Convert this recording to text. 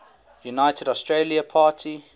united australia party